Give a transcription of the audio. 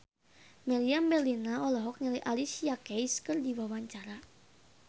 Meriam Bellina olohok ningali Alicia Keys keur diwawancara